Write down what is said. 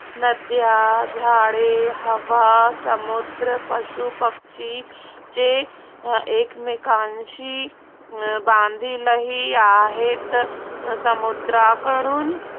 नद्या, झाडे, हवा, समुद्र, पशू-पक्षी ते एकमेकाशी बांधील ही आहेत. समुद्राकडून